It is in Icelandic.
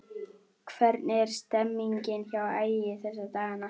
Hvernig er stemningin hjá Ægi þessa dagana?